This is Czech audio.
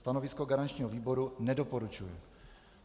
Stanovisko garančního výboru: nedoporučuje.